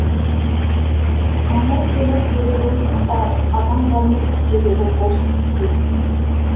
әмір темір көреген атанғанның себебі бұл дейді